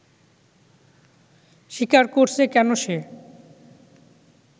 স্বীকার করছে কেন সে